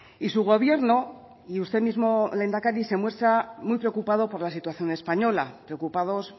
y su gobierno y usted mismo lehendakari se muestra muy preocupado por la situación española preocupados